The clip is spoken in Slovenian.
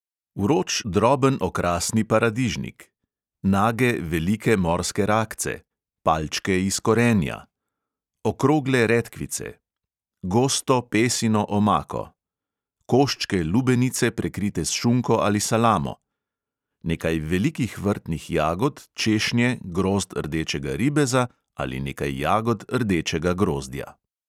Vroč droben okrasni paradižnik, nage velike morske rakce, palčke iz korenja, okrogle redkvice, gosto pesino omako, koščke lubenice, prekrite s šunko ali salamo, nekaj velikih vrtnih jagod, češnje, grozd rdečega ribeza ali nekaj jagod rdečega grozdja.